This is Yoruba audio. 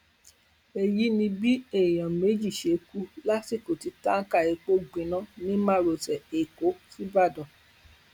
èyí ni bí èèyàn méjì ṣe kú lásìkò tí táǹkà epo gbiná ní márosẹ ẹkọ sìbàdàn